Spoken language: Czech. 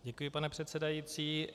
Děkuji, pane předsedající.